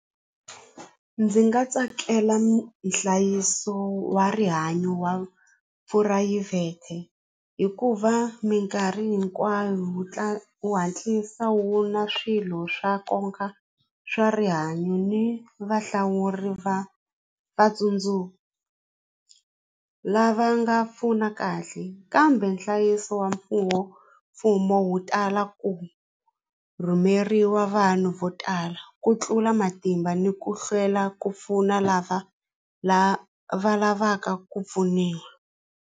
Ndzi nga tsakela nhlayiso wa rihanyo wa phurayivhete hikuva mikarhi hinkwayo wu wu hatlisa wu na swilo swa nkoka swa rihanyo ni vahlawuri va lava nga pfuna kahle kambe nhlayiso wa mfumo mfumo wu tala ku rhumeriwa vanhu vo tala ku tlula matimba ni ku hlwela ku pfuna lava la va lavaka ku pfuniwa.